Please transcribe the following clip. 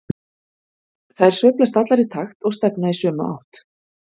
Þær sveiflast allar í takt og stefna í sömu átt.